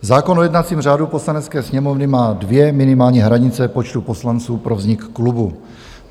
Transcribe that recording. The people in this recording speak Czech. Zákon o jednacím řádu Poslanecké sněmovny má dvě minimální hranice počtu poslanců pro vznik klubu.